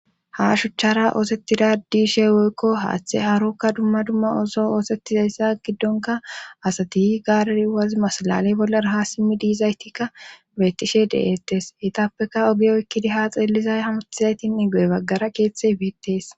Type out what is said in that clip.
ha shuchchara oosettida diishe woykko haaththe harokka dumma dumma oso oosettizayssa giddonka asati gaarir waz masalale bollaraha simmi diizaytikka betishe de7ettes etappeka ogiyoykkidi ha xeellizay hamutizaytin i go7e baggara keeththe biittees